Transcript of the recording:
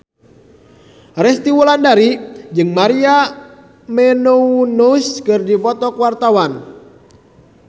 Resty Wulandari jeung Maria Menounos keur dipoto ku wartawan